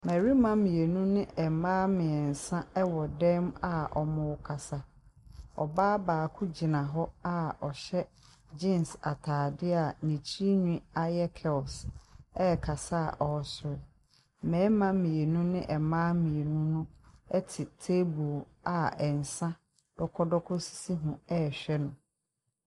Mmarima mmienu ne mmaa mmiɛnsa wɔ dan mu a wɔrekasa. Ↄbaa baako gyina hɔ a ɔhyɛ jeans ataadeɛ a ne tiri nnwii ayɛ curls rekasa a ɔresere. Mmarima mmienu ne mmaa mmiɛnsa no te table a nsa dɔkɔdɔkɔ sisi ho rehwɛ no.